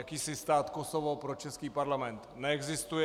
Jakýsi stát Kosovo pro český Parlament neexistuje.